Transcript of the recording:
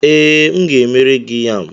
Ee, m ga-emere gị yam.